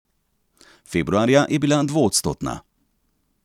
Februarja je bila dvoodstotna.